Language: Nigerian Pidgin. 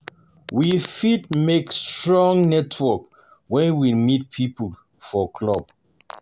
We fit build strong network when we meet pipo for club